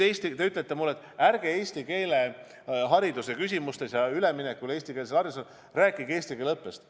Te ütlete mulle, et ärge üleminekust eestikeelsele haridusele rääkige eesti keele õppest.